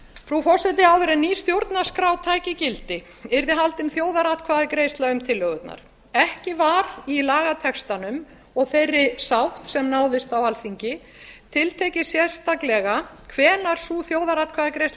frú forseti áður en ný stjórnarskrá tæki gildi yrði haldin þjóðaratkvæðagreiðsla um tillögurnar ekki var í lagatextanum og þeirri sátt sem náðist á alþingi tiltekið sérstaklega hvenær sú þjóðaratkvæðagreiðsla